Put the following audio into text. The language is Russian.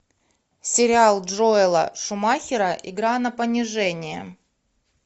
сериал джоэла шумахера игра на понижение